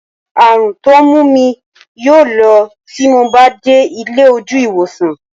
Àrùn tó mú mi yóò lọ tí mo bá ti dé ilé ojú ìwòsàn